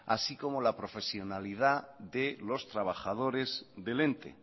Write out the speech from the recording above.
así como la profesionalidad de los trabajadores del ente